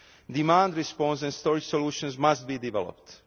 Demand response and storage solutions must be developed.